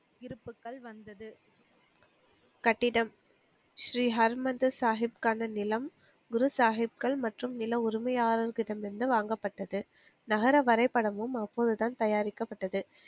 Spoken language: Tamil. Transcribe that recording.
இருப்புகள் வந்தது கட்டிடம் ஸ்ரீஹரிமந்த சாகிப்கான நிலம் குரு சாகிப்கள் மற்றும் நில உரிமையாளர்களிடம் இருந்து வாங்கப்பட்டது நகர வரைபடமும் அப்போதுதான் தயாரிக்கப்பட்டது